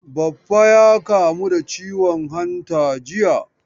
Baffa ya kamu da ciwon hanta jiya.